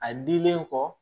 A dilen kɔ